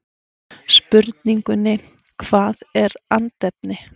Spurningunni Hvað er andefni?